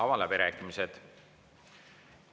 Avan läbirääkimised.